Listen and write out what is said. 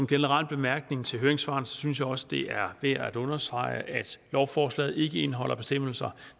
generel bemærkning til høringssvarene synes jeg også det er værd at understrege at lovforslaget ikke indeholder bestemmelser